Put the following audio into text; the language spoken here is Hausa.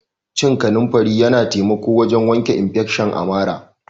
Cin kanunfari Yana taimako wajen wanke infesion a marà.